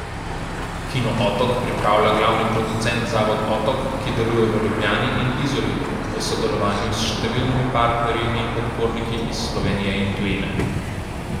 Kino Otok pripravlja glavni producent zavod Otok, ki deluje v Ljubljani in Izoli, v sodelovanju s številnimi partnerji in podporniki iz Slovenije in tujine.